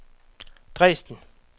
Dresden